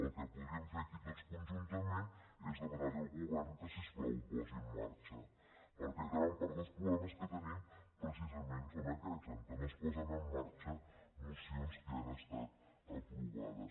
el que podríem fer aquí tots conjuntament és demanarli al govern que si us plau ho posi en marxa perquè gran part dels problemes que tenim precisament és aquesta que no es posen en marxa mocions que ja han estat aprovades